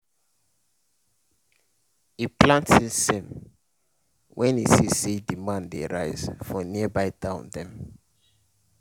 e plant sesame when e see say demand dey rise for nearby town dem.